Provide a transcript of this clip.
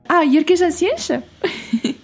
а еркежан сен ше